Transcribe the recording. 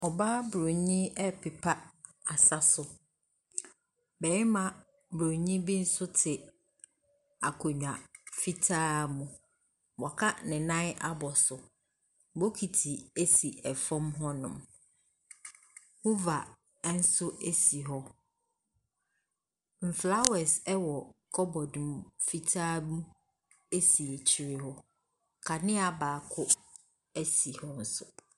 Ɔbaa bronii ɛpepa asa so. Bɛɛma bronii bi nso te akonnwa fitaa mu. W'aka ne nan abɔ so. Bokiti ɛsi ɛfam hɔ nom. Huva ɛnso ɛsi hɔ. Mflawɛs ɛwɔ kɔbɔd fitaa mu ɛsi akyire hɔ. Kanea baako ɛsi hɔ nso.